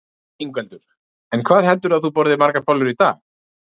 Ingveldur: En hvað heldurðu að þú borðir margar bollur í dag?